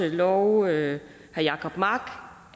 love herre jacob mark